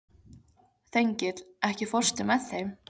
Þengill, ekki fórstu með þeim?